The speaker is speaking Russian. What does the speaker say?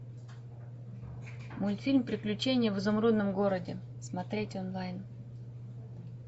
мультфильм приключения в изумрудном городе смотреть онлайн